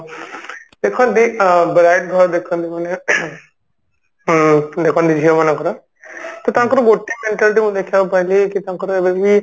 ଦେଖନ୍ତି bride ଘର ଦେଖନ୍ତି ମାନେ ing ଉଁ ବର୍ତମାନ ଯୋଉ ଝିଅ ମାନଙ୍କର ତ ତାଙ୍କର ଗୋଟେ mentality ମୁଁ ଦେଖିବାକୁ ପାଇଲି ଯେ ତାଙ୍କର ଏବେବି